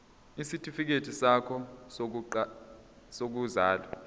isitifikedi sakho sokuzalwa